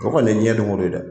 O kɔni ye jiyɛn don o don dɛ.